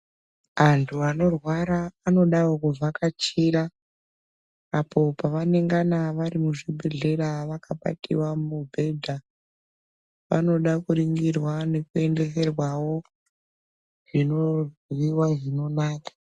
Antu anorwara anodawo kuvhakachira, apo pavanengana vari muzvibhedhlera, vakabatiwa mubhedha, vanoda kuringirwa nekue ndeserwawo zvinoryiwa zvinonaka.